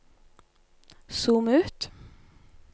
zoom ut